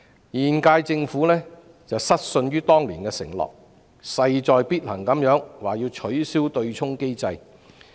現屆政府失信於人，沒有信守當年的承諾，現時勢在必行要取消對沖機制。